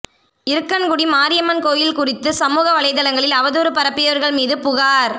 இருக்கன்குடி மாரியம்மன் கோயில் குறித்து சமூக வலைதளங்களில் அவதூறு பரப்பியவா்கள் மீது புகாா்